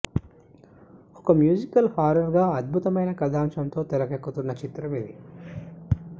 ఒక musical horror గా అధ్బుతమైన కథాంశంతో తెరెక్కుతున్న చిత్రం ఇది